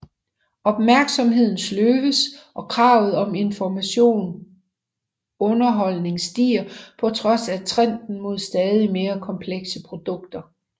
Opmærksomheden sløves og kravet om informativ underholdning stiger på trods af trenden mod stadig mere komplekse produkter